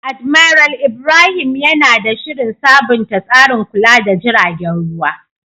Admiral Ibrahim yana da shirin sabunta tsarin kula da jiragen ruwa.